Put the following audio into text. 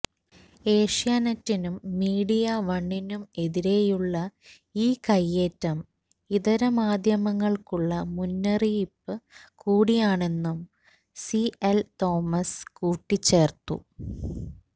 ഏഷ്യാനെറ്റിനും media വണ്ണിനും എതിരെയുള്ള ഈ കയ്യേറ്റം ഇതരമാധ്യമങ്ങൾക്കുള്ള മുന്നറിയിപ്പ് കൂടിയാണെന്നും സി എൽ തോമസ് കൂട്ടിച്ചേർത്തു